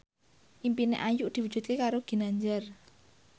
impine Ayu diwujudke karo Ginanjar